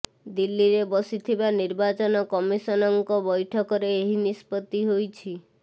ଦିଲ୍ଲୀରେ ବସିଥିବା ନିର୍ବାଚନ କମିସନଙ୍କ ବୈଠକରେ ଏହି ନିଷ୍ପତ୍ତି ହୋଇଛି